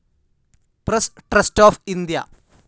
press trust of India